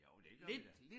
Jo det gør vi da